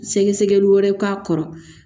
Sɛgɛsɛgɛli wɛrɛ k'a kɔrɔ